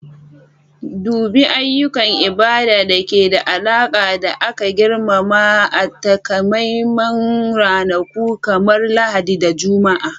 Dubi ayyukan ibada da ke da alaƙa da aka girmama a takamaiman ranaku kamar Lahadi da Juma'a.